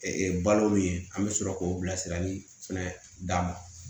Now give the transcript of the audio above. balo min ye an bɛ sɔrɔ k'o bila sira min fana d'a ma